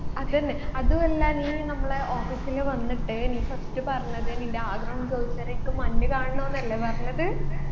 അതെന്നെ അതുവല്ല നീ നമ്മളെ office ൽ വന്നിട്ട് നീ first പറഞ്ഞത് നിൻെറ ആഗ്രഹം ചോദിച്ചേരം നിൻക്ക് മഞ്ഞ് കാണാണോന്നല്ലേ പറഞ്ഞത്